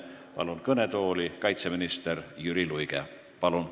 Palun kõnetooli kaitseminister Jüri Luige!